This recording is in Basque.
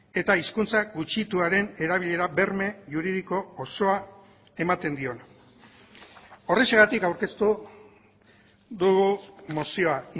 eta hizkuntza gutxituaren erabilera berme juridiko osoa ematen diona horrexegatik aurkeztu dugu mozioa